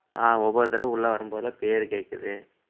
ஆஹ் ஒவ்வொரு தடவை உள்ள வரும்போதெல்லாம் பேரு கேட்குது